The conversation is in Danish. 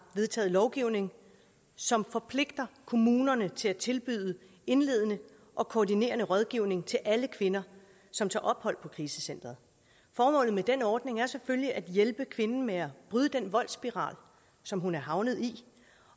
vedtaget lovgivning som forpligter kommunerne til at tilbyde indledende og koordinerende rådgivning til alle kvinder som tager ophold på krisecenteret formålet med den ordning er selvfølgelig at hjælpe kvinden med at bryde den voldsspiral som hun er havnet i